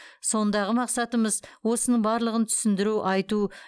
сондағы мақсатымыз осының барлығын түсіндіру айту